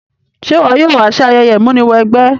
Se wo yóò wa si ayẹyẹ ìmúniwẹgbẹ́?